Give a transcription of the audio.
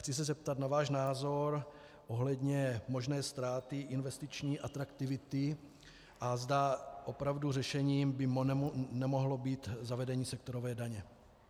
Chci se zeptat na váš názor ohledně možné ztráty investiční atraktivity, a zda opravdu řešením by nemohlo být zavedení sektorové daně.